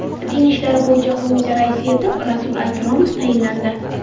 Din ishlari bo‘yicha qo‘mita raisi etib Jasur Akromov tayinlandi.